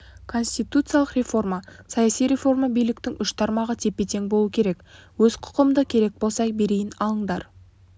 конституциялық реформа саяси реформа биліктің үш тармағы тепе-тең болу керек өз құқымды керек болса берейін алыңдар